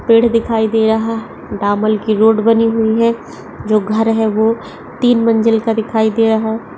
पेड़ दिखाइ दे रहा है डामर की रोड बनी हुई है जो घर है वो तिन मंजिल का दिखाइ दे रहा है।